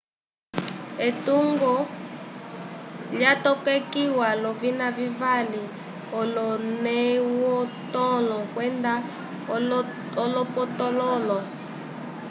etungo lyatokekiwa l'ovina vivali-olonewtõlo kwenda olopotõlo